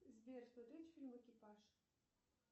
сбер смотреть фильм экипаж